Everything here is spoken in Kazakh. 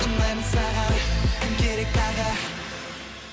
ұнайды саған кім керек тағы